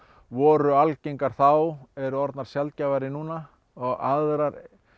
voru algengar þá eru orðnar sjaldgæfari núna og aðrar